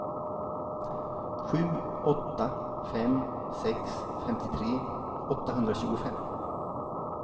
sju åtta fem sex femtiotre åttahundratjugofem